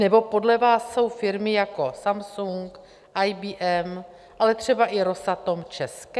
Nebo podle vás jsou firmy jako Samsung, IBM, ale třeba i Rosatom české?